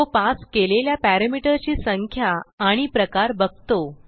तो पास केलेल्या पॅरामीटर ची संख्या आणि प्रकार बघतो